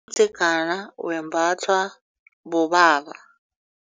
Umdzegana wembathwa bobaba.